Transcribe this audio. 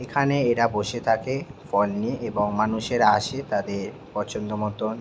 এইখানে এরা বসে থাকে ফল নিয়ে এবং মানুষেরা আসে তাদের পছন্দ মতন--